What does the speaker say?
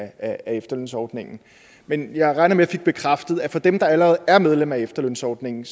af efterlønsordningen men jeg regner med at jeg fik bekræftet at for dem der allerede er medlem af efterlønsordningen